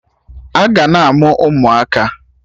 Aga na-amụ ụmụaka